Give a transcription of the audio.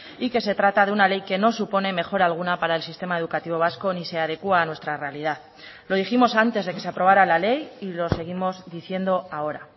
y que se trata de una ley que no supone mejora alguna para el sistema educativo vasco ni se adecua a nuestra realidad lo dijimos antes de que se aprobara la ley y lo seguimos diciendo ahora